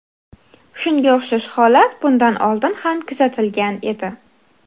Shunga o‘xshash holat bundan oldin ham kuzatilgan edi.